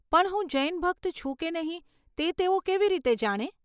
પણ હું જૈન ભક્ત છું કે નહીં તે તેઓ કેવી રીતે જાણે?